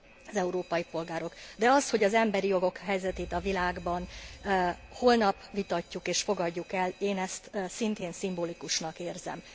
az európai polgárok, de az, hogy az emberi jogok helyzetét a világban holnap vitatjuk és fogadjuk el, én ezt szintén szimbolikusnak érzem.